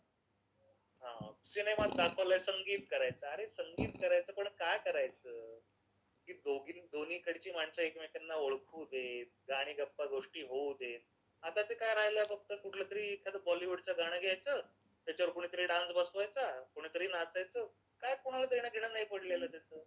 सिनेमात दाखवलंय संगीत करायचं. अरे संगीत करायचं पण का करायचं? की दोन्हीकडची माणसं एकमेकांना ओळखू देत आणि गप्पागोष्टी होऊ देत. आता ते काय राहिलाय फक्त ते कुठलं तरी बॉलिवूडचं गाणं घ्यायचं, त्याच्यावर कोणीतरी डान्स बसवायचा, कोणीतरी नाचायचं, काय कोणाला देणंघेणं नाही पडलेलं.